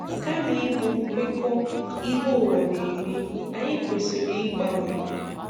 Kama ịbụ kwekọọ́ ihe ụwa na-eme, anyị kwesì̀rị̀ ịgbanwe.